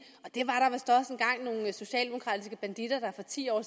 at socialdemokratiske banditter der for ti år